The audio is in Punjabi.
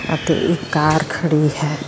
ਅਤੇ ਇੱਕ ਕਾਰ ਖੜੀ ਹੈ।